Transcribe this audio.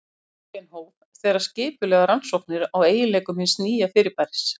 Röntgen hóf þegar skipulegar rannsóknir á eiginleikum hins nýja fyrirbæris.